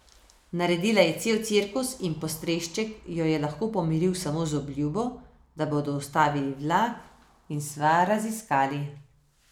Naredila je cel cirkus in postrešček jo je lahko pomiril samo z obljubo, da bodo ustavili vlak in stvar raziskali.